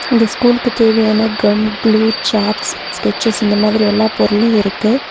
இந்த ஸ்கூலுக்கு தேவையான கம் க்ளூ சாட்ஸ் ஸ்கெட்சஸ் இந்த மாதிரி எல்லா பொருளும் இருக்கு.